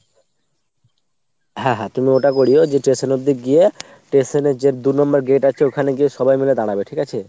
হ্যাঁ হ্যাঁ তুমি ওটা করিও যে station অবধি গিয়ে station এর যে দু number gate আছে ওখানে গিয়ে সবাই মিলে দাঁড়াবে ঠিক আছে ?